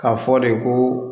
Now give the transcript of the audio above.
K'a fɔ de ko